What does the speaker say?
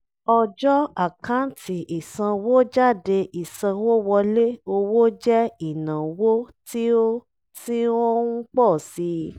ọjọ́ àkántì ìsanwójádé ìsanwówọlé owo jẹ́ ìnáwó tí ó tí ó ń pọ̀ sí i